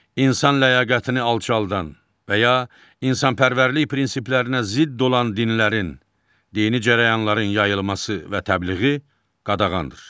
İnsan ləyaqətini alçaldan və ya insanpərvərlik prinsiplərinə zidd olan dinlərin, dini cərəyanların yayılması və təbliği qadağandır.